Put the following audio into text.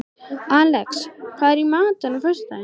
Alex, hvað er í matinn á föstudaginn?